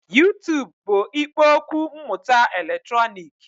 YuTub bụ ikpo okwu mmụta eletrọnịkị